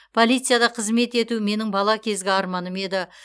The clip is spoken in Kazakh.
полицияда қызмет ету менің бала кезгі арманым еді